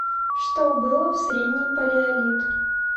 что было в средний палеолит